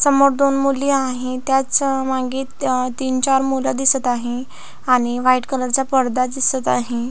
समोर दोन मुली आहेत त्याच्यामागे तीन चार मुले दिसत आहे आणि व्हाईट कलर चा पडदा दिसत आहे.